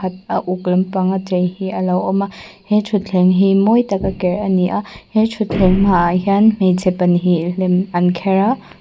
khat a uk lampang a chei hi a lo awm a he thutthleng hi mawi taka ker a ni a he thutthleng hmaah hian hmeichhe pa hnih lem an kher a.